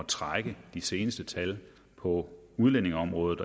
trække de seneste tal på udlændingeområdet